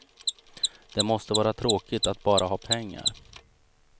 Det måste vara tråkigt att bara ha pengar.